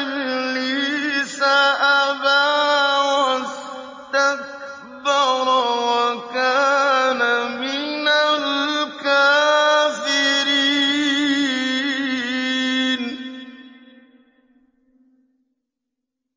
إِبْلِيسَ أَبَىٰ وَاسْتَكْبَرَ وَكَانَ مِنَ الْكَافِرِينَ